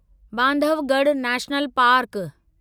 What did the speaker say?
Bandhavgarh national park